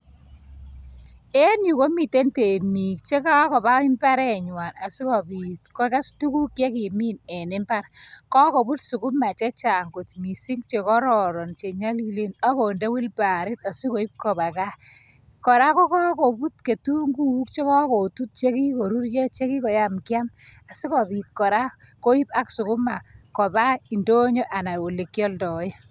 En yu komiten temik chegagoba imbaret nyuan asikyi piit kogas tuguk che kagimin. Kogobut sukuma chechang kot mising' , chegororon, che nyalilen ak konde wheelbarrow asigoip kowa gaa. Kora koput kitunguuk che kager put chegageruryo.